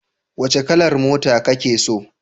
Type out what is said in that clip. Wace kalar mota kake so?